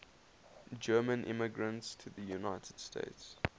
german immigrants to the united states